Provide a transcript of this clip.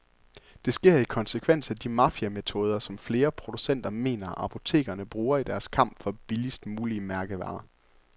Det sker i konsekvens af de mafiametoder, som flere producenter mener, apotekerne bruger i deres kamp for billigst mulige mærkevarer.